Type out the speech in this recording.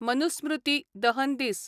मनुस्मृती दहन दीस